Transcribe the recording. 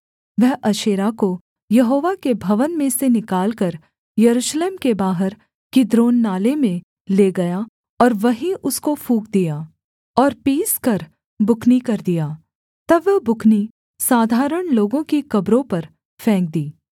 वह अशेरा को यहोवा के भवन में से निकालकर यरूशलेम के बाहर किद्रोन नाले में ले गया और वहीं उसको फूँक दिया और पीसकर बुकनी कर दिया तब वह बुकनी साधारण लोगों की कब्रों पर फेंक दी